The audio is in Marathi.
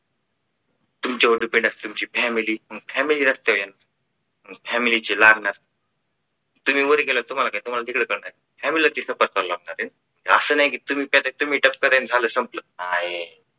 तुमच्यावर depend असणारी तुमची family मग family रस्त्यावर येणार. आणि family ची लागणार लागणार तुम्ही वर गेलात तुम्हाला काय तुम्हाला तिकडं काय नाही ह्या मुलाची आहे असं नाही कि तुम्ही त्यात तुम्ही तात्पर्य याने झालं संपलं नाही